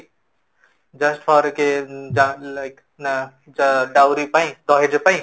just for a like uh dowry ପାଇଁ ପାଇଁ